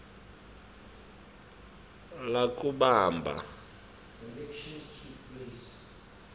kalobamba